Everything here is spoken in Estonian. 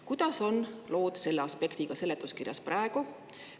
Kuidas on lood selle aspektiga seletuskirjas praegu?